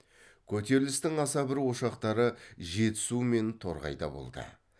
көтерілістің аса бір ошақтары жетісу мен торғайда болды